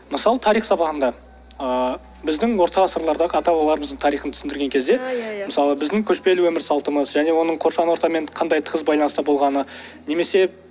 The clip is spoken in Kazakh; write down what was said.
мысалы тарих сабағында ыыы біздің орта ғасырларда ата бабамыздың тарихын түсіндірген кезде иә иә мысалы біздің көшпелі өмір салтымыз және оның қоршаған ортамен қандай тығыз байланыста болғаны немесе